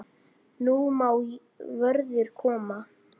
Nú má vorið koma.